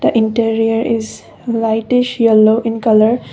interior is whitish yellow in colour.